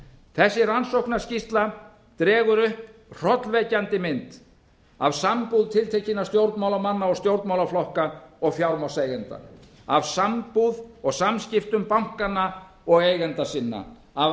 þessi rannsóknarskýrsla dregur upp hrollvekjandi mynd af sambúð tiltekinna stjórnmálamanna og stjórnmálaflokka og fjármagnseigenda af sambúð og samskiptum bankanna og eigenda sinna af